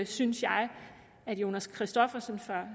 synes jeg at jonas christoffersen